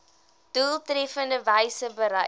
doeltreffendste wyse bereik